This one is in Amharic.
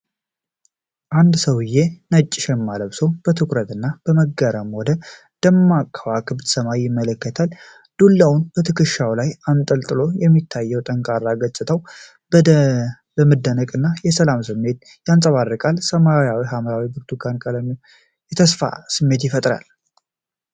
አንድ ሰውዬ ነጭ ሸማ ለብሶ በትኩረት እና በመገረም ወደ ደማቅ የከዋክብት ሰማይ ይመለከታል። ዱላውን በትከሻው ላይ አንጠልጥሎ የሚታየው ጠንካራ ገጽታው፤ የመደነቅን እና የሰላምን ስሜት ያንጸባርቃል። የሰማይ ሐምራዊ እና ብርቱካናማ ቀለም የተስፋ ስሜትን ይፈጥራል።